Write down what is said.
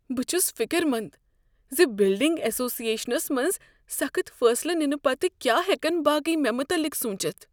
بہٕ چھس فکر مند ز بلڈنگ ایسوسی ایشنس منٛز سخت فیصلہٕ ننہٕ پتہٕ کیا ہیکن باقی مےٚ متعلق سوچتھ۔